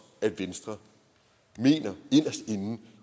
at venstre mener inderst inde